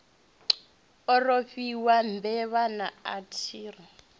a rofhiwa mbevha naa athiri